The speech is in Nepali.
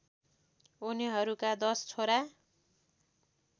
उनीहरूका दश छोरा